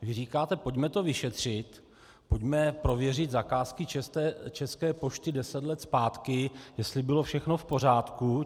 Vy říkáte: Pojďme to vyšetřit, pojďme prověřit zakázky České pošty deset let zpátky, jestli bylo všechno v pořádku.